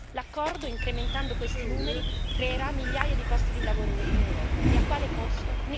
L'accordo, incrementando questi numeri, creerà migliaia di posti di lavoro in Europa e a quale costo?